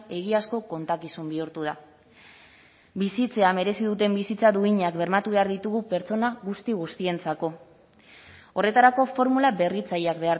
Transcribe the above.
egiazko kontakizun bihurtu da bizitzea merezi duten bizitza duinak bermatu behar ditugu pertsona guzti guztientzako horretarako formula berritzaileak